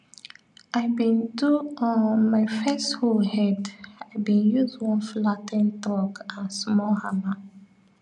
i been do um my first hoe head i been use one flat ten ed truck and small hammer